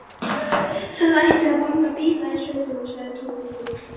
Það ætti að banna bíla í sveitinni sagði Tóti fúll.